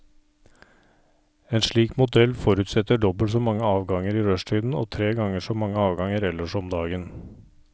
En slik modell forutsetter dobbelt så mange avganger i rushtiden og tre ganger så mange avganger ellers om dagen.